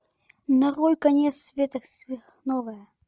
нарой конец света сверхновая